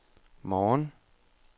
morgen